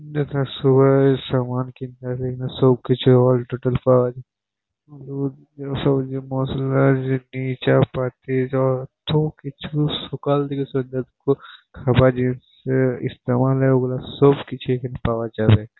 সামান কিতনা হে সবকিছু অল টোটাল পাওয়া যাবে সবজি মশলা চেনি চাপাটি সবকিছু সকাল থেকে সন্ধ্যেদুপুর খাবার জিনিসের ইস্তেমাল ওগলা সবকিছু এইখানে পাওয়া যাবে।